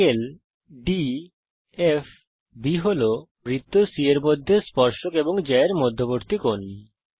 ∠ DFB বৃত্ত c এর মধ্যে স্পর্শক এবং জ্যা এর মধ্যবর্তী কোণ